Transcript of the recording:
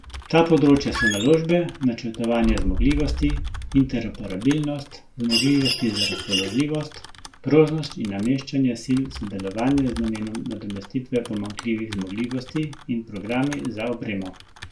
Ta področja so naložbe, načrtovanje zmogljivosti, interoperabilnost, zmogljivosti za razpoložljivost, prožnost in nameščanje sil, sodelovanje z namenom nadomestitve pomanjkljivih zmogljivosti in programi za opremo.